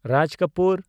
Raj Kapoor